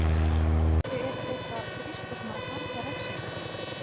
Af hverju eru þeir þá að þrýsta á svona harða refsingu?